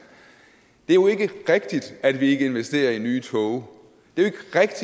det er jo ikke rigtigt at vi ikke investerer i nye tog det